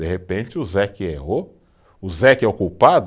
De repente o Zé que errou, o Zé que é o culpado?